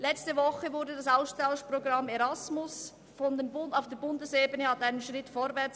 Letzte Woche kam das Austauschprogramm Erasmus auf Bundesebene einen Schritt vorwärts.